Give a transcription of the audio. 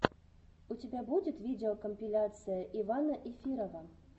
у тебя будет видеокомпиляция ивана эфирова